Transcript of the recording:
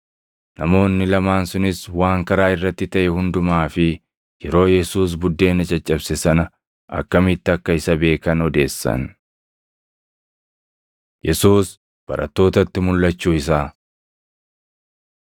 Namoonni lamaan sunis waan karaa irratti taʼe hundumaa fi yeroo Yesuus buddeena caccabse sana akkamitti akka isa beekan odeessan. Yesuus Barattootatti Mulʼachuu Isaa